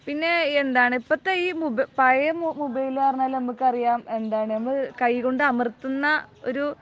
പിന്നെ എന്താണ് ഇപ്പോഴത്തെ മൊബൈലിലെ, പഴയ മൊബൈൽ ആയിരുന്നെങ്കിൽ നമുക്ക് അറിയാം എന്താണ് കൈകൊണ്ട് അമർത്തുന്ന ഒരു